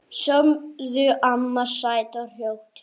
Sofðu, amma, sætt og rótt.